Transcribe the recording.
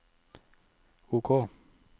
OK